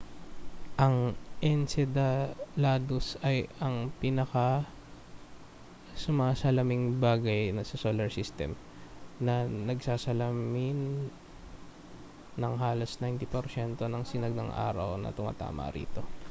ang enceladus ay ang pinakasumasalaming bagay sa solar system na nagsasalamin ng halos 90 porsyento ng sinag ng araw na tumatama rito